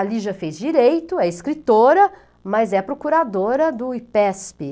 A Lígia fez direito, é escritora, mas é procuradora do IPESP.